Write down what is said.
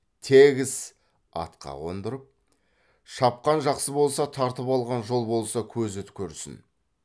тегіс атқа қондырып шапқан жақсы болса тартып алған жол болса көзі көрсін